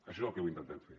això és el que intentem fer